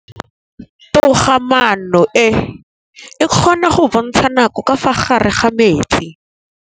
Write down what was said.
Toga-maanô e, e kgona go bontsha nakô ka fa gare ga metsi.